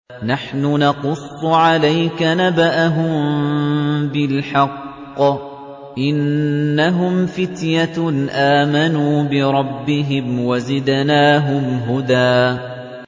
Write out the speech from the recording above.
نَّحْنُ نَقُصُّ عَلَيْكَ نَبَأَهُم بِالْحَقِّ ۚ إِنَّهُمْ فِتْيَةٌ آمَنُوا بِرَبِّهِمْ وَزِدْنَاهُمْ هُدًى